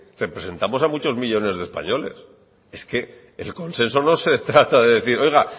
representamos a millónes de españoles el consenso no se trata de decir oiga